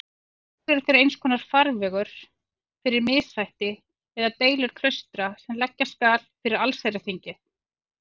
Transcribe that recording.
Loks eru þeir einskonar farvegur fyrir missætti eða deilur klaustra sem leggja skal fyrir allsherjarþingið.